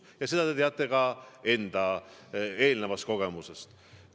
Ja seda te teate ka enda eelnevast kogemusest.